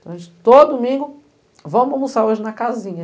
Então a gente, todo domingo, vamos almoçar hoje na casinha.